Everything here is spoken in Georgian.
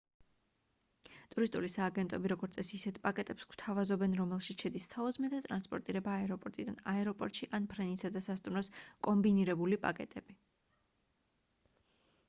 ტურისტული სააგენტოები როგორც წესი ისეთ პაკეტებს გვთავაზობენ რომელშიც შედის საუზმე და ტრანსპორტირება აეროპორტიდან/აეროპორტში ან ფრენისა და სასტუმროს კომბინირებული პაკეტები